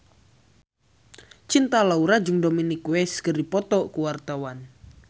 Cinta Laura jeung Dominic West keur dipoto ku wartawan